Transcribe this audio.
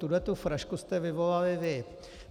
Tuhle frašku jste vyvolali vy.